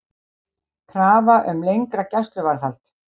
Krafa um lengra gæsluvarðhald